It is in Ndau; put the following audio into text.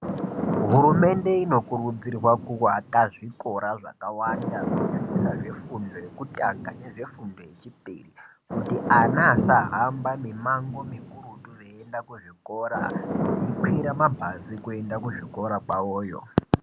Hurumende inokurudzirwa kuaka zvikora zvakawanda kunyanyisa zvefundo yekutanga nezvefundo yechipiri kuti ana asahamba mimango mikuruti veienda kuzvikora, vokwira mabhazi kuenda kuzvikora kwavoyo.